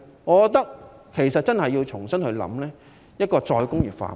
我覺得政府真的要重新考慮再工業化。